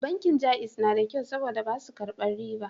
Bankin Jaiz na da kyau saboda ba su a karbin riba